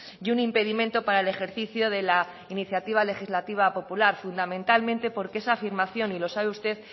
y un impedimento para el ejercicio de la iniciativa legislativa popular fundamentalmente porque esa afirmación y lo sabe usted